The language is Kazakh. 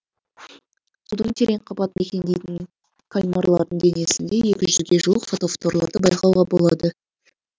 судың терең қабатын мекендейтін кальмарлардың денесінде екі жүзге жуық фотофорларды байқауға болады